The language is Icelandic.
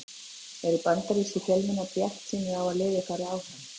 Eru bandarískir fjölmiðlar bjartsýnir á að liðið fari áfram?